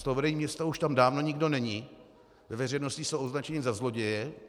Z toho vedení města už tam dávno nikdo není, ve veřejnosti jsou označeni za zloděje.